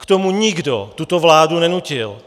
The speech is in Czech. K tomu nikdo tuto vládu nenutil.